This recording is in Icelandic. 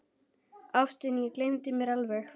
Ástin, ég gleymdi mér alveg!